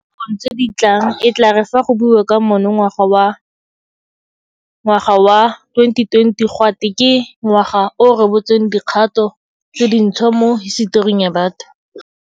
Mo dinakong tse di tlang e tla re fa go buiwa ka monongwaga, ngwaga wa 2020, ga twe ke ngwaga o o rebotseng dikgato tse dintšhwa mo hisetoring ya batho.